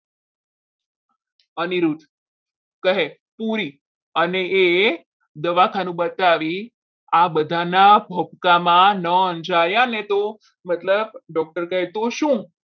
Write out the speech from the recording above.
અનિરુદ્ધ કહે પુરી અને એ દવાખાનું બતાવી આ બધાના ભક્કામાં ન અંજાયા ને તો મતલબ doctor કહે તો શું?